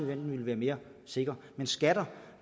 den vil være mere sikker men skatter